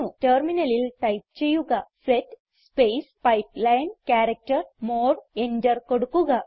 ടെർമിനലിൽ ടൈപ്പ് ചെയ്യുക set space pipeline character more enter കൊടുക്കുക